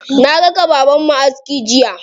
Na raka babanmu aski jiya.